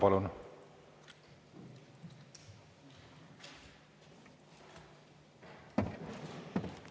Palun!